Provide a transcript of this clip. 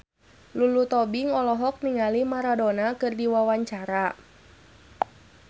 Lulu Tobing olohok ningali Maradona keur diwawancara